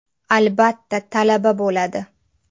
Albatta talaba bo‘ladi.